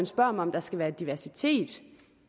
spørger mig om der skal være diversitet